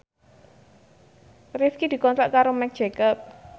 Rifqi dikontrak kerja karo Marc Jacob